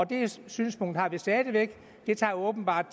det synspunkt har vi stadig væk det tager åbenbart